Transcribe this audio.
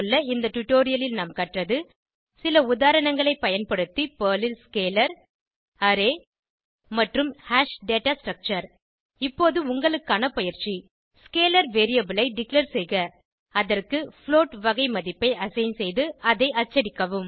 இந்த டுடோரியலில் நாம் கற்றது சில உதாரணங்களைப் பயன்படுத்தி பெர்ல் ல் ஸ்கேலர் அரே மற்றும் ஹாஷ் டேட்டா ஸ்ட்ரக்சர் இப்போது உங்களுக்கான பயிற்சி ஸ்கேலர் வேரியபிள் ஐ டிக்ளேர் செய்க அதற்கு புளோட் வகை மதிப்பை அசைன் செய்து அதை அச்சடிக்கவும்